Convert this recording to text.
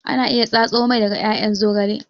Ana iya tsatso mai daga ƴaƴan zogale